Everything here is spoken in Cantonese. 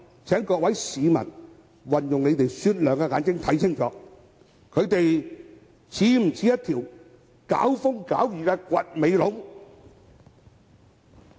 請各位市民運用雪亮的眼睛看清楚，他們是否像一條"搞風搞雨"的"掘尾龍"？